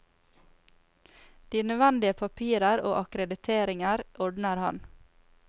De nødvendige papirer og akkrediteringer ordner han.